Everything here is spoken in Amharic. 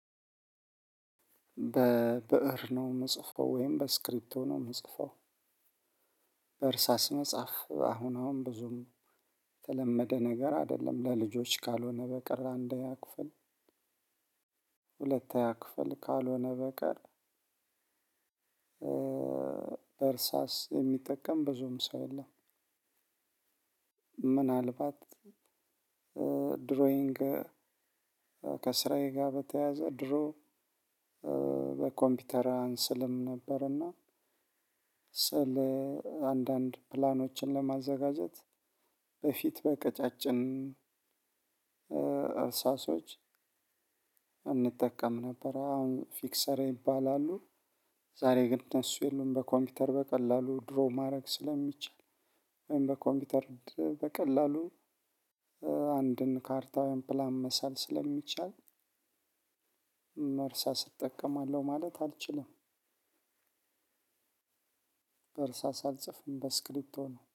በብእር ነው የምጽፈው ወይም በእስክርቤቶ የምጽፈው በእርሳስ መጽሐፍ አሁን አሁን ብዙም የተለመደ ነገር አይደለም ለልጆች ካልሆነ በቀር አንደኛ ክፍል። ሁለተኛ ክፍል ካልሆነ በቀር እርሳስ የሚጠቀም ብዙም ሰው የለም። ምናልባት ድሮይንግ ከስራዬ ጋር በተያያዘ ድሮ በኮምፒውተር አንስልም ነበር። እና ስዕል አንዳንድ ፕላኖችን ለማዘጋጀት በፊት በቀጫጭን እርሳሶች እንጠቀም ነበር። አሁን ፊክሰር ይባላሉ። ዛሬ ግን እነሱ የለውም በኮምፒውተር በቀላሉ ድሮ ማድረግ ስለማይችል። ወይም በኮምፒውተር በቀላሉ አንድን ካርታ ፕላን መሳል ስለሚቻል። በእርሳስ እጠቀማለሁ ማለት አልችልም። በእርሳስ አልጽፍም በእስክብሪቶ ነው።